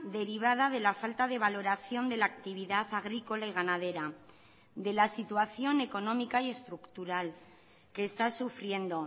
derivada de la falta de valoración de la actividad agrícola y ganadera de la situación económica y estructural que está sufriendo